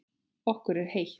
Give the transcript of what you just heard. Okkur er heitt.